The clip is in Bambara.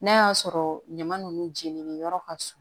N'a y'a sɔrɔ ɲaman nunnu jeninen yɔrɔ ka surun